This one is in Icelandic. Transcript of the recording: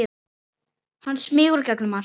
Hann smýgur gegnum allt.